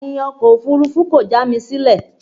Bẹ́ẹ̀ni, ọkọ̀ òfurufú kò já mi sílẹ̀